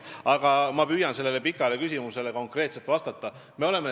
Aga ma püüan sellele pikale küsimusele konkreetselt vastata.